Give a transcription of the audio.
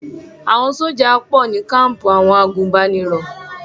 Àwọn sójà pọ̀ ní káǹpù àwọn agùnbánirò